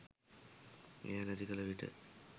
එය නැති කළ විට